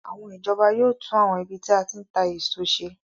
Àwọn ìjọba yóò tún àwọn ibi tí a ti ń ta èso ṣe